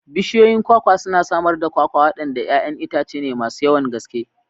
Bishiyoyin kwakwa suna samar da kwakwa, waɗanda 'ya'yan itace ne masu yawan gaske.